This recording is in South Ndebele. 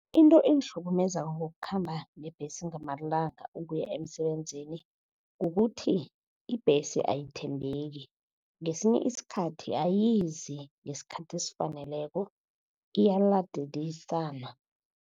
Into engihlukumezako ngokukhamba ngebhesi ngamalanga ukuya emsebenzini, kukuthi ibhesi ayithembeki. Ngesinye isikhathi ayizi ngesikhathi esifaneleko iyaladelisana.